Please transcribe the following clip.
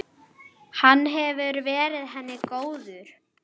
Hann hefur verið henni góður.